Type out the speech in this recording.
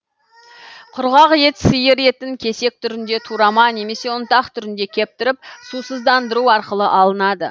құрғақ ет сиыр етін кесек түрінде турама немесе ұнтақ түрінде кептіріп сусыздандыру арқылы алынады